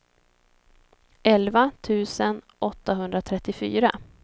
elva tusen åttahundratrettiofyra